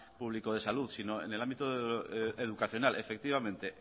público de salud sino en el ámbito educacional efectivamente